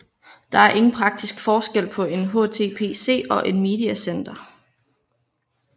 Der er ingen praktisk forskel på en HTPC og et Mediacenter